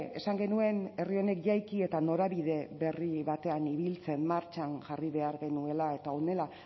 esan genuen herri honek jaiki eta norabide berri batean ibiltzen martxan jarri behar genuela eta honela